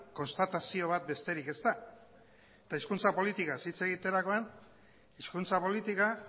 konstatazio bat besterik ez da eta hizkuntza politikaz hitz egiterakoan hizkuntzapolitika